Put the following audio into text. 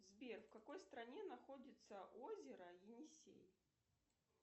сбер в какой стране находится озеро енисей